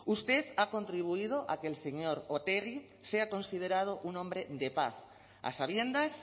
usted ha contribuido a que el señor otegi sea considerado un hombre de paz a sabiendas